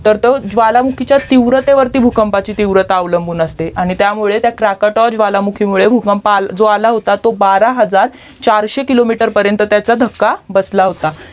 तर तो ज्वालामुखीच्या तीव्रतेवरती भूकंपाची तीव्रता अवलंबून असते आणि त्यामुळे क्रकोटोवा ज्वालामुखीमुळे जो आला होता बारा हजार चारशे किलोमीटर पर्यन्त त्याचा धक्का बसला होता